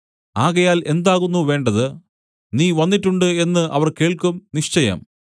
ആകയാൽ എന്താകുന്നു വേണ്ടത് നീ വന്നിട്ടുണ്ട് എന്ന് അവർ കേൾക്കും നിശ്ചയം